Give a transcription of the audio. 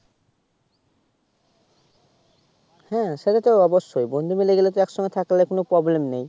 হ্যা সেটা তো অবশ্যই বন্ধু মিলে গেলে তো এক সঙ্গে থাকলে তো কোনো Problem নেই